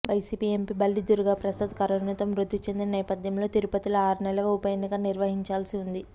YCP MP Balli Durgaprasad కరోనాతో మృతి చెందిన నేపథ్యంలో తిరుపతిలో ఆరునెలల్లోగా ఉప ఎన్నిక నిర్వహించాల్సి ఉంది